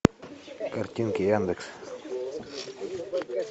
картинки яндекс